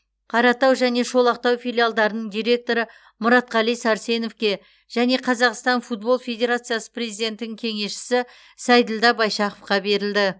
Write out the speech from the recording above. қаратау және шолақтау филиалдарының директоры мұратқали сәрсеновке және қазақстан футбол федерациясы президентінің кеңесшісі сейділдә байшақовқа берілді